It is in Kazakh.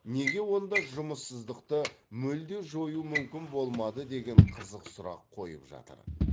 неге онда жұмыссыздықты мүлде жою мүмкін болмады деген қызық сұрақ қойып жатады